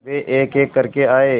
वे एकएक करके आए